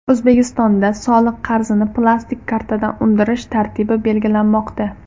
O‘zbekistonda soliq qarzini plastik kartadan undirish tartibi belgilanmoqda.